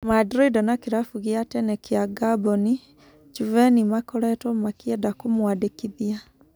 Mandrinda na kĩrabu gĩa tene kĩa Ngamboni, Juveni makoretũo makĩenda kũmũandĩkithia.